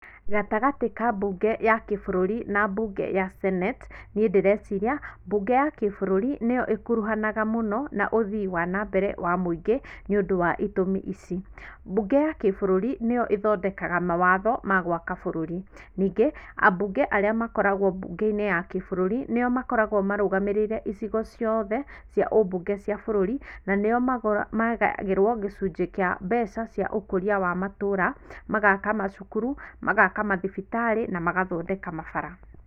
Gatagatĩ ka mbunge ya kĩbũrũri na mbunge ya Senate, niĩ ndĩreciria mbunge ya kĩbũrũri, nĩyo ĩkuruhanaga mũno na ũthii wa nambere wa mũingĩ nĩ ũndũ wa itũmi ici, mbunge ya kĩbũrũri nĩyo ĩthondekaga mawatho ma gwaka bũrũri, ningĩ ambunge arĩa makoragwo mbungeinĩ ya kĩbũrũri, nĩo makoragwo marũgamĩrĩire icigo ciothe cia ũmbunge cia bũrũri, na nĩo magayagĩrwo gĩcunjĩ kĩa mbeca cia ũkũria wa matũũra, magaka macukuru, magaka mathibitarĩ na magathondeka mabara.